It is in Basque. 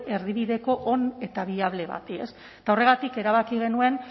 erdibideko on eta biable bati ez eta horregatik erabaki genuen